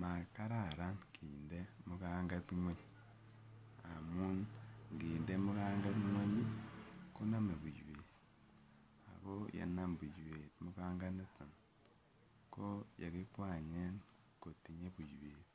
Makararan kinde mukanget nweny amun nginde mukanget ngweny konome buiywet ak ko yenam buiwet mukanganiton ko yekikwanyen kotinye buiwet